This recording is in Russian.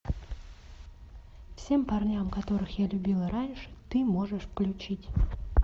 всем парням которых я любила раньше ты можешь включить